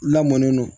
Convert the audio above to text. Lamɔn ne don